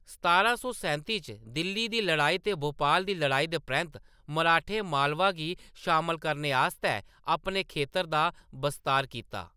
सतारां सौ सैंती च दिल्ली दी लड़ाई ते भोपाल दी लड़ाई दे परैंत्त मराठें मालवा गी शामल करने आस्तै अपने खेतर दा बस्तार कीता।